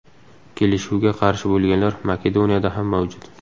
Kelishuvga qarshi bo‘lganlar Makedoniyada ham mavjud.